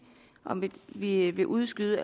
om vi vil udskyde